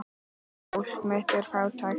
Fólk mitt er fátækt.